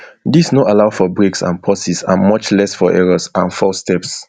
dis no allow for breaks and pauses and much less for errors and false steps